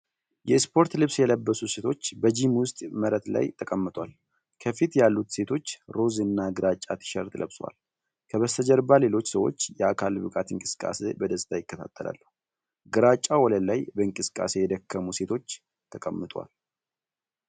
የስፖርት ልብስ የለበሱ ሴቶች በጂም ውስጥ መሬት ላይ ተቀምጠዋል። ከፊት ያሉት ሴቶች ሮዝ እና ግራጫ ቲሸርት ለብሰዋል፤ ከበስተጀርባ ሌሎች ሰዎች የአካል ብቃት እንቅስቃሴ በደስታ ይከታተላሉ። ግራጫው ወለል ላይ በእንቅስቃሴ የደከሙ ሴቶች ተቀምጠዋል፡፡